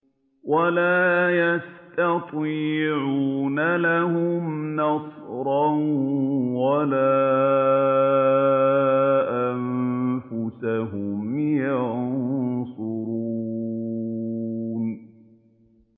وَلَا يَسْتَطِيعُونَ لَهُمْ نَصْرًا وَلَا أَنفُسَهُمْ يَنصُرُونَ